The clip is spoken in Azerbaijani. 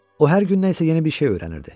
O hər gün nə isə yeni bir şey öyrənirdi.